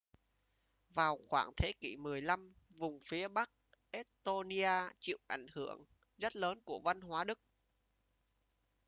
vào khoảng thế kỷ 15 vùng phía bắc estonia chịu ảnh hưởng rất lớn của văn hóa đức